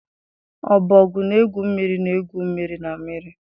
Ọbọgwụ na-egwu mmiri na-egwu mmiri na mmiri.